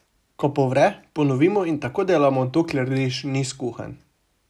Ko povre, ponovimo in tako delamo, dokler riž ni kuhan.